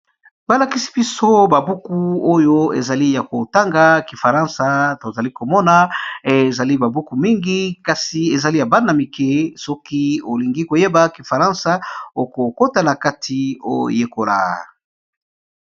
Balakisi biso babuku oyo ezali ya kotanga kifaransa tozali komona ezali babuku mingi kasi ezali ya bana mike soki olingi koyeba kifaransa okokota na kati oyekola.